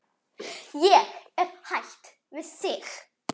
Hætt við þig.